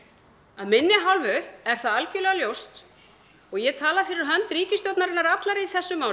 af minni hálfu er það algjörlega ljóst og ég tala fyrir hönd ríkisstjórnarinnar allrar í þessu máli